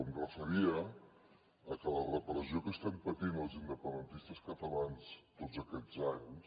em referia a que la repressió que estem patint els independentistes catalans tots aquests anys